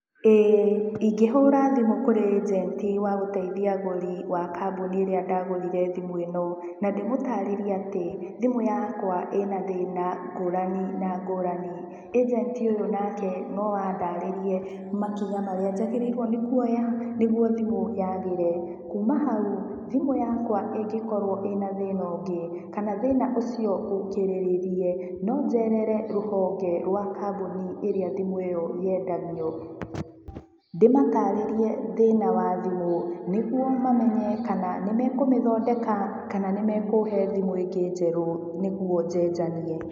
Ĩĩ, ingĩhũra thimũ kũrĩ ĩnjenti wa gũteithia agũri, wa kambuni ĩrĩa ndagũrire thimũ ĩno. Na ndĩmũtaarĩrie atĩ, thimũ yakwa ĩna thĩna ngũrani na ngũrani. ĩnjenti ũyũ nake no andarĩrie makinya marĩa njagĩrĩirwo ni kuoya, nĩguo thimũ yagĩre. Kuuma hau, thimũ yakwa ĩngĩkorwo ĩna thĩna ũngĩ, kana thĩna ũcio ũkĩrĩrĩrie, no njerere rũhonge rwa kambuni ĩrĩa thimũ ĩyo yendagio. Ndĩmataarĩrie thĩna wa thimũ, nĩguo mamenye kana nĩ mekũmĩthondeka, kana nĩ mekũhe thimũ ĩngĩ njerũ, nĩguo njenjanie.